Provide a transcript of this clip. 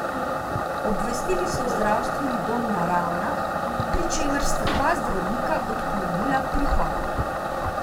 Obvestili so zdravstveni dom na Ravnah, pri čemer sta dva zdravnika odklonila prihod.